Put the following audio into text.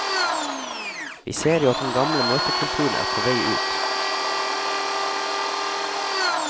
Vi ser jo at den gamle møtekulturen er på vei ut.